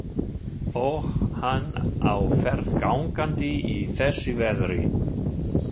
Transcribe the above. Og hann á ferð gangandi í þessu veðri.